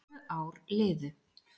Tvö ár liðu